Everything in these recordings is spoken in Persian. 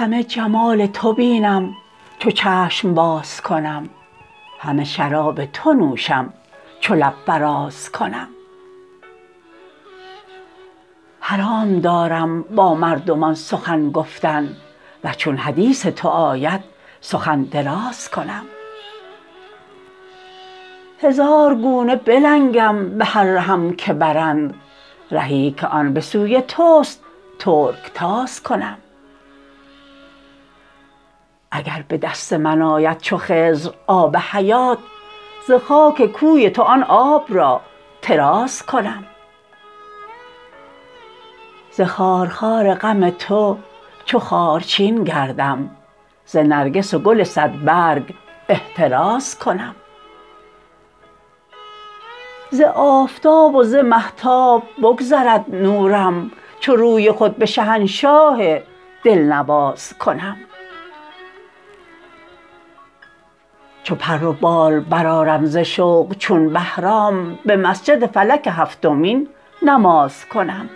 همه جمال تو بینم چو چشم باز کنم همه شراب تو نوشم چو لب فراز کنم حرام دارم با مردمان سخن گفتن و چون حدیث تو آید سخن دراز کنم هزار گونه بلنگم به هر رهم که برند رهی که آن به سوی تو است ترک تاز کنم اگر به دست من آید چو خضر آب حیات ز خاک کوی تو آن آب را طراز کنم ز خارخار غم تو چو خارچین گردم ز نرگس و گل صدبرگ احتراز کنم ز آفتاب و ز مهتاب بگذرد نورم چو روی خود به شهنشاه دلنواز کنم چو پر و بال برآرم ز شوق چون بهرام به مسجد فلک هفتمین نماز کنم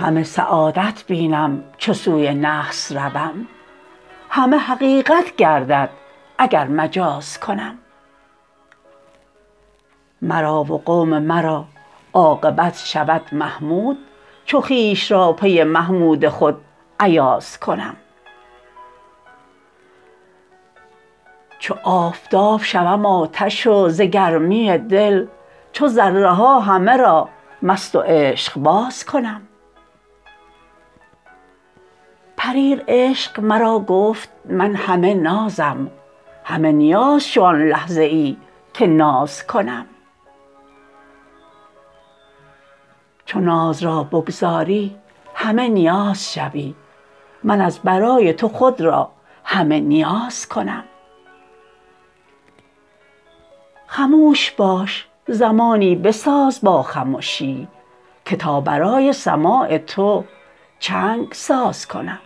همه سعادت بینم چو سوی نحس روم همه حقیقت گردد اگر مجاز کنم مرا و قوم مرا عاقبت شود محمود چو خویش را پی محمود خود ایاز کنم چو آفتاب شوم آتش و ز گرمی دل چو ذره ها همه را مست و عشقباز کنم پریر عشق مرا گفت من همه نازم همه نیاز شو آن لحظه ای که ناز کنم چو ناز را بگذاری همه نیاز شوی من از برای تو خود را همه نیاز کنم خموش باش زمانی بساز با خمشی که تا برای سماع تو چنگ ساز کنم